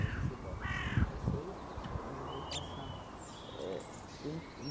Eu não sei qual a religião de vocês, mas eu vou passar éh tempo eu